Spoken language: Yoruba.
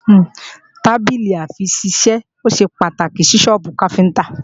Tábìlì-àfiṣisẹ́ ṣe pàtàkì ní sọ́ọ́bù káfíntá